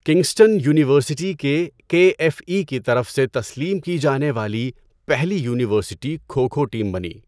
Kingston university K K F E کی طرف سے تسلیم کی جانے والی پہلی یونیورسٹی کھو کھو ٹیم بنی۔